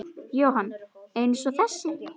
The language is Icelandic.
Jóhann: Eins og þessi?